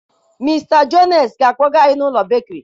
Mr jones ga akpoga anyị na ụlọ bekiri